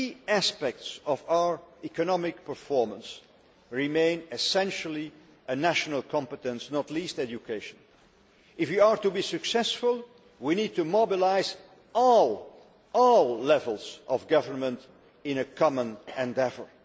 However, key aspects of our economic performance remain essentially a national competence, not least education. If we are to be successful, we need to mobilise all levels of government in a common endeavour.